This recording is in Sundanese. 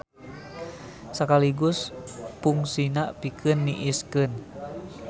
Sakaligus pungsina pikeun niiskeun.